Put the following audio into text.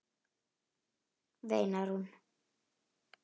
veinar hún.